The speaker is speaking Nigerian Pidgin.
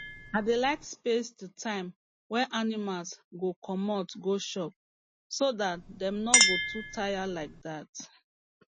i dey like space the time wey animals go comot go chop so dat dem no go too tire like dat